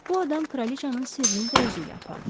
Bu adam kraliçanın sirrini də özü ilə apardı.